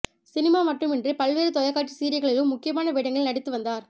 cinema மட்டுமின்றி பல்வேறு தொலைக்காட்சி சீரியல்களிலும் முக்கியமான வேடங்களில் நடித்து வந்தார்